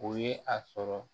O ye a sɔrɔ